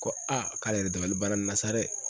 Ko k'ale yɛrɛ dabali banna nin na sa dɛ